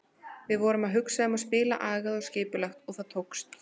Við vorum að hugsa um að spila agað og skipulagt og það tókst.